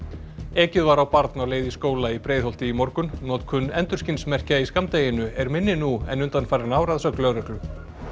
ekið var á barn á leið í skóla í Breiðholti í morgun notkun endurskinsmerkja í skammdeginu er minni nú en undanfarin ár að sögn lögreglu